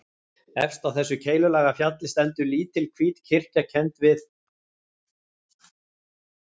Efst á þessu keilulaga fjalli stendur lítil hvít kirkja kennd við